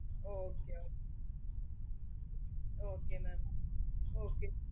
okay okay okay okay mam okay